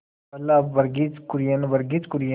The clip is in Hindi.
पहल वर्गीज कुरियन वर्गीज कुरियन